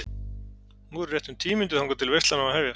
Nú eru rétt um tíu mínútur þangað til veislan á að hefjast.